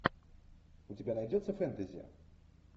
у тебя найдется фэнтези